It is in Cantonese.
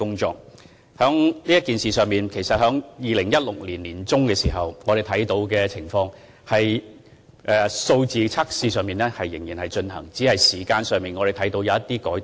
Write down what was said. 就此事而言，在2016年年中，我們看到測試仍然在進行，只是時間上有些改動。